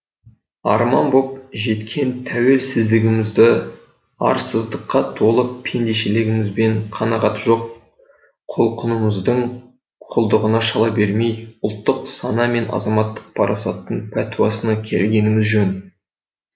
арман боп жеткен тәуелсіздігімізді арсыздыққа толы пендешілігіміз бен қанағаты жоқ құлқынымыздың құлдығына шала бермей ұлттық сана мен азаматтық парасаттың пәтуәсына келгеніміз жөн